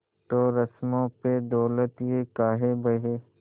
तो रस्मों पे दौलत ये काहे बहे